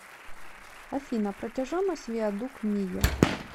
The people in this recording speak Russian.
афина протяженность виадук мийо